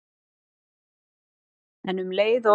En um leið og